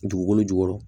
Dugukolo jukɔrɔ